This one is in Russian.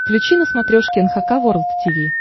включи на смотрешке эн эйч кей волд ти ви